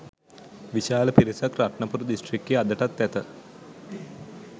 විශාල පිරිසක් රත්නපුර දිස්ත්‍රික්කයේ අදටත් ඇත.